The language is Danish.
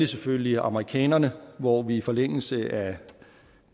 selvfølgelig amerikanerne hvor vi i forlængelse af